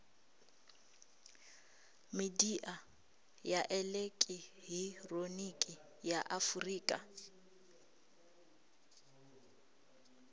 midia ya elekihironiki ya afurika